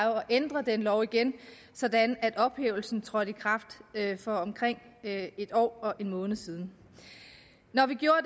ændre den lov igen sådan at ophævelsen trådte i kraft for omkring en år og en måned siden når vi gjorde